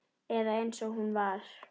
Eða eins og hún var.